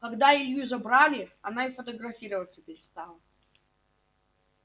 когда илью забрали она и фотографироваться перестала